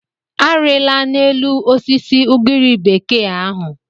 Arịla n'elu osisi ugiri bekee ahụ.